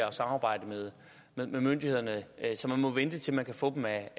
og samarbejde med myndighederne så man må vente til man kan få dem af